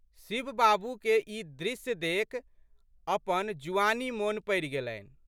शिव बाबू के ई दृश्य देखि अपन जुआनी मोन पड़ि गेलनि।